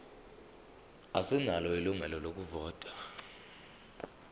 asinalo ilungelo lokuvota